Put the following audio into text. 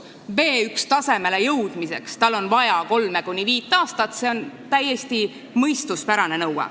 B1-tasemele jõudmiseks on tal vaja kolme kuni viite aastat, see on täiesti mõistuspärane nõue.